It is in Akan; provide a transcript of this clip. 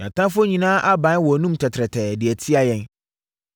“Yɛn atamfoɔ nyinaa abae wɔn anom tɛtrɛɛ de tia yɛn.